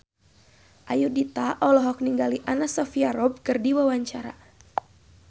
Ayudhita olohok ningali Anna Sophia Robb keur diwawancara